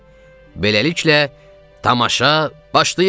Beləliklə, tamaşa başlayır!